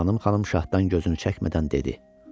Sultanım xanım şahdan gözünü çəkmədən dedi: